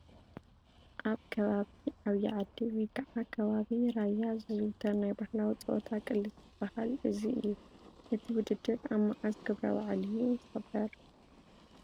ኣብ ከባቢ ዓብይ ዓዲ ወይ ከዓ ከባቢ ራያ ዝዝውተር ናይ ባህላዊ ፀወታ ቅልስ ዝባሃል እዚ እዩ፡፡ እቲ ውድድር ኣብ መዓዝ ክብረ በዓል እዩ ዝኽበር?